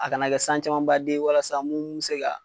A kana kɛ san caman baden ye walasa mun bɛ se ka